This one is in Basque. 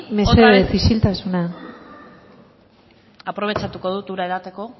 mesedez isiltasuna aprobetxatuko dut ura edateko